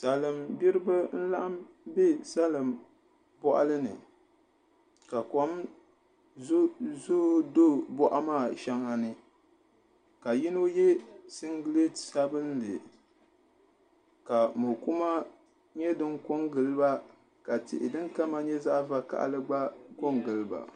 Salin gbiribi n zooi bɛ salin boɣani ka kom zooi do boɣa maa shɛŋa ni ka yino yɛ singirɛti sabinli ka mokuma nyɛ din ko n giliba ka tihi din kama nyɛ zaɣ vakaɣali gba ko n giliba